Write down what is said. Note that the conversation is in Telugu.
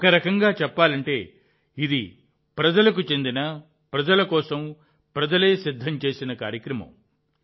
ఒక రకంగా చెప్పాలంటే ఇది ప్రజలకు చెందిన ప్రజల కోసం ప్రజలే సిద్ధం చేసిన కార్యక్రమం